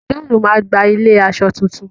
John má gbà ilẹ aṣọ títún